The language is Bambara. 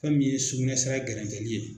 Fɛn min ye sukunɛsira gɛrɛntɛli ye.